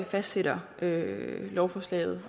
fastsætter lovforslaget